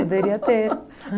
Poderia ter.